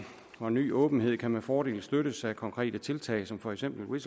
og ny åbenhed kan med fordel støttes af konkrete tiltag som for eksempel